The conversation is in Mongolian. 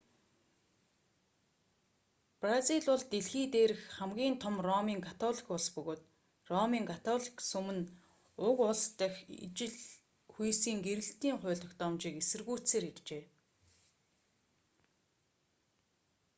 бразил бол дэлхий дээрх хамгийн том ромын католик улс бөгөөд ромын католик сүм нь уг улс дахь ижил хүйсийн гэрлэлтийн хууль тогтоомжийг эсэргүүцсээр иржээ